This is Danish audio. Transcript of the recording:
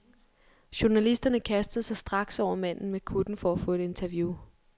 Journalisterne kastede sig straks over manden med kutten for at få et interview.